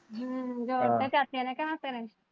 ਹਮ ਜੋੜਤੇ ਚਾਚੇ ਨੇ ਹੱਥ ਤੇਰੇ?